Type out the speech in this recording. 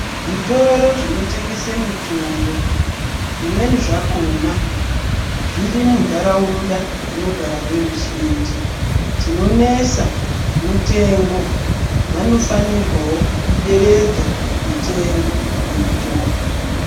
Zvitoro zvinotengese mitombo zvimweni zvakona zviri muntaraunda dzinogara veruzhinji chinonesa mutengo. Vanofanirwawo kuderedza mutengo yemitombo.